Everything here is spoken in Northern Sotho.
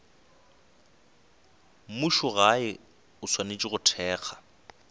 mmušogae o swanetše go thekga